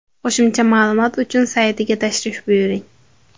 Qo‘shimcha ma’lumot uchun saytiga tashrif buyuring.